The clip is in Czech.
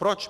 Proč?